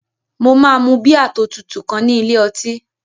Mo máa mu bíà tó tutù kan ní ilé ọtí